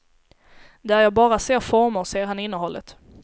Där jag bara ser former, ser han innehållet.